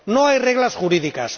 no hay reglas jurídicas